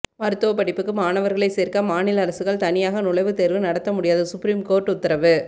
மருத்துவ படிப்புக்கு மாணவர்களை சேர்க்க மாநில அரசுகள் தனியாக நுழைவுத்தேர்வு நடத்த முடியாது சுப்ரீம் கோர்ட்டு உத்தரவு